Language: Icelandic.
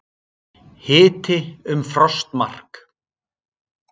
Hiti um frostmark